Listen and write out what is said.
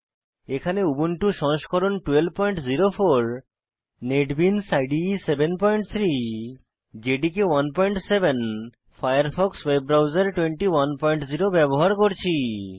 এখানে উবুন্টু সংস্করণ 1204 NetBeans IDE 73 JDK 17 Firefox web browser 210 ব্যবহার করছি